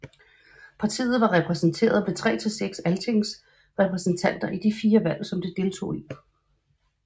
Partiet var repræsenteret med mellem 3 til 6 altingsrepræsentanter i de fire valg som det deltog i